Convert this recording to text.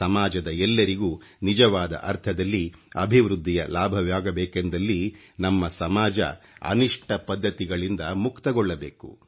ಸಮಾಜದ ಎಲ್ಲರಿಗೂ ನಿಜವಾದ ಅರ್ಥದಲ್ಲಿ ಅಭಿವೃದ್ಧಿಯ ಲಾಭವಾಗಬೇಕೆಂದಲ್ಲಿ ನಮ್ಮ ಸಮಾಜ ಅನಿಷ್ಟ ಪದ್ಧತಿಗಳಿಂದ ಮುಕ್ತಗೊಳ್ಳಬೇಕು